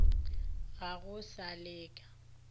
ga go sa le ka